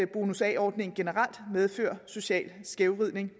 bonus a ordningen generelt medfører social skævvridning